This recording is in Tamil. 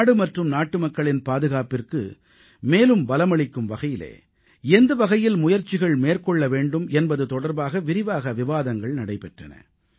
நாடு மற்றும் நாட்டுமக்களின் பாதுகாப்பிற்கு மேலும் பலமளிக்கும் வகையிலே எந்த வகையில் முயற்சிகள் மேற்கொள்ள வேண்டும் என்பது தொடர்பாக விரிவாக விவாதங்கள் நடைபெற்றன